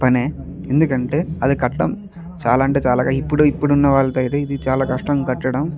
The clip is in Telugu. పనే ఎందుకంటే అది కష్టం. చాలా అంటే చాలా ఇప్పుడున్న వాళ్లకైతే ఇది చాలా కష్టం కట్టడం.